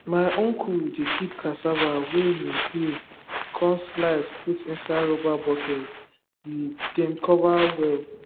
my uncle dey keep cassava way him peel cun slice put inside rubber bucket we dem cover well